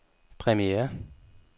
premiere